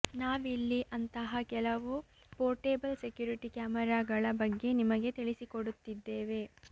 ನಾವಿಲ್ಲಿ ಅಂತಹ ಕೆಲವು ಪೋರ್ಟೇಬಲ್ ಸೆಕ್ಯುರಿಟಿ ಕ್ಯಾಮರಾಗಳ ಬಗ್ಗೆ ನಿಮಗೆ ತಿಳಿಸಿಕೊಡುತ್ತಿದ್ದೇವೆ